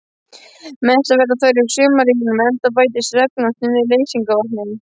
Mestar verða þær í sumarrigningum enda bætist regnvatnið við leysingarvatnið.